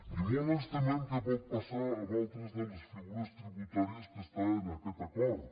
i molt ens temem que pot passar amb altres de les figures tributàries que estan en aquest acord